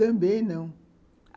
Também não.